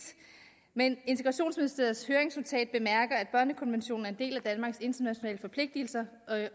men integrationsministeriets høringsnotat at børnekonventionen er en del af danmarks internationale forpligtelser